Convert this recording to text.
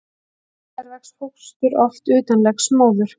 Hins vegar vex fóstur oft utan legs móður.